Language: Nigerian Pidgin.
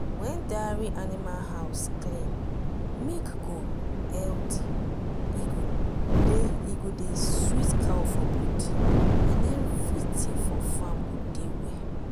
wen dairy animal house clean milk go healthy e go dey sweet cow for body and everything for farm go de well.